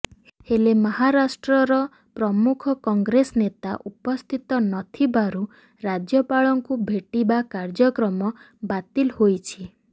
ହେଲେ ମହାରାଷ୍ଟ୍ରର ପ୍ରମୁଖ କଂଗ୍ରେସ ନେତା ଉପସ୍ଥିତ ନଥିବାରୁ ରାଜ୍ୟପାଳଙ୍କୁ ଭେଟିବା କାର୍ଯ୍ୟକ୍ରମ ବାତିଲ୍ ହୋଇଛି